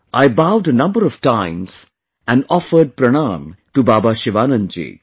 I bowed a number of times and offered Pranaam to Baba Sivanand ji